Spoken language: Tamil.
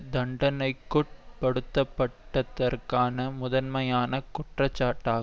தண்டனைக்குட்படுத்தப்பட்டதற்கான முதன்மையான குற்றச்சாட்டாகும்